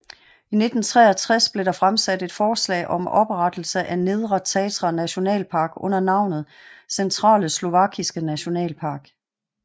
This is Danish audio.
I 1963 blev der fremsat et forslag om oprettelse af Nedre Tatra Nationalpark under navnet Centrale Slovakiske Nationalpark